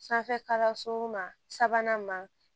Sanfɛ kalanso ma sabanan ma